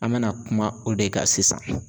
An bɛna kuma o de ka sisan.